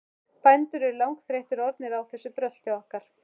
Bændur eru langþreyttir orðnir á þessu brölti okkar.